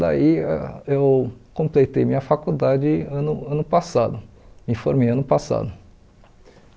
Daí ãh eu completei minha faculdade ano ano passado, me formei ano passado.